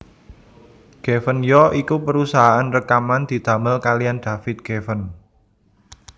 Geffen ya iku perusahaan rekaman didamel kaliyan David Geffen